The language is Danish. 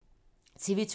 TV 2